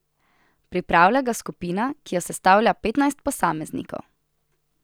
Pripravlja ga skupina, ki jo sestavlja petnajst posameznikov.